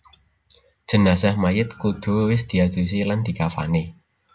Jenazah Mayit kudu wis diadusi lan dikafani